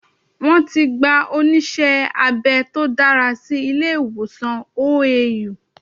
Wọ́n ti gba onísé abẹ tó dára sí ilé ìwòsàn OAU